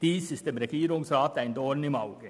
Dies ist dem Regierungsrat ein Dorn im Auge.